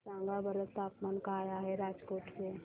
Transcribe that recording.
सांगा बरं तापमान काय आहे राजकोट चे